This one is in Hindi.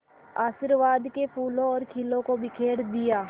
आशीर्वाद के फूलों और खीलों को बिखेर दिया